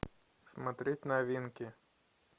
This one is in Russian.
смотреть новинки